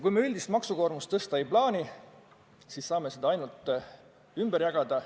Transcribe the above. Kui me üldist maksukoormust suurendada ei plaani, siis me saame seda ainult ümber jagada.